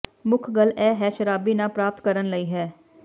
ਮੁੱਖ ਗੱਲ ਇਹ ਹੈ ਸ਼ਰਾਬੀ ਨਾ ਪ੍ਰਾਪਤ ਕਰਨ ਲਈ ਹੈ